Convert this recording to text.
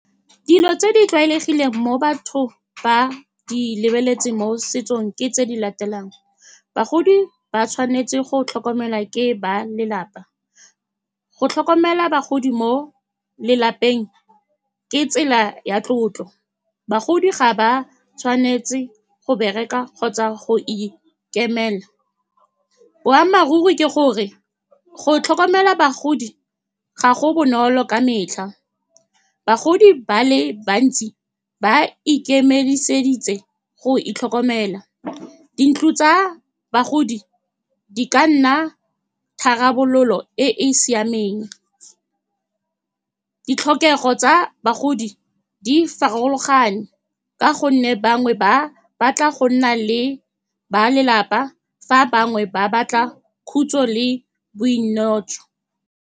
Dilo tse di tlwaelegileng mo bathong, ba di lebeletse mo setsong, ke tse di latelang, bagodi ba tshwanetse go tlhokomelwa ke ba lelapa. Go tlhokomela bagodi mo lelapeng ke tsela ya tlotlo. Bagodi ga ba tshwanetse go bereka kgotsa go ikemela. Boammaaruri ke gore go tlhokomela bagodi ga go bonolo ka metlha, bagodi ba le bantsi ba ikemiseditse go itlhokomela. Dintlo tsa bagodi di ka nna tharabololo e e siameng. Ditlhokego tsa bagodi di farologane, ka gonne bangwe ba batla go nna le ba lelapa, fa bangwe ba batla khutso le bo .